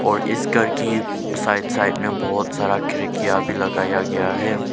और इस घर की साइड साइड में बहुत सारा खिड़कियां भी लगाया गया है।